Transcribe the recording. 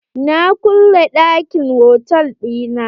Na kulle ɗakin hotal ɗina.